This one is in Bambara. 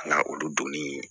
Ka na olu donni